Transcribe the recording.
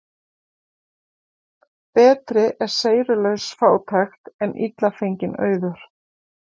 Betri er seyrulaus fátækt en illa fenginn auður.